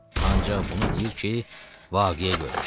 Ancaq bunu deyir ki, vaqiyə görmüşəm.